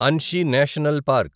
Anshi National park